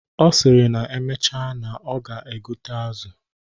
Ọ sịrị na emecha na ọ ga-egote azụ.